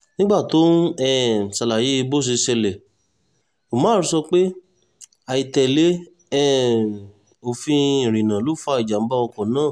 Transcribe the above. nígbà tó ń um ṣàlàyé bó ṣe ṣẹlẹ̀ umar sọ pé àìtẹ́lẹ̀ um òfin ìrìnnà ló fa ìjàm̀bá ọkọ̀ náà